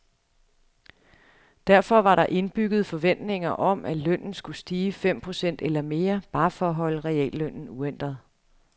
Derfor var der indbygget forventninger om, at lønnen skulle stige fem procent eller mere, bare for at holde reallønnen uændret.